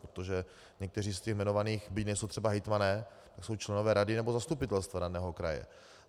Protože někteří z těch jmenovaných, byť nejsou třeba hejtmani, tak jsou členové rady nebo zastupitelstva daného kraje.